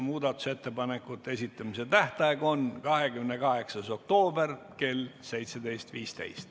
Muudatusettepanekute esitamise tähtaeg on 28. oktoober kell 17.15.